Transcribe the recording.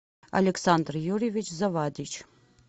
александр юрьевич завадич